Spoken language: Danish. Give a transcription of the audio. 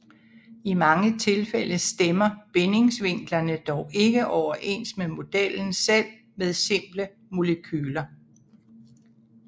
I mange tilfælde stemmer bindingsvinklerne dog ikke overens med modellen selv med simple molekyler